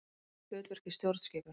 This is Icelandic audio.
Formlegt hlutverk í stjórnskipun.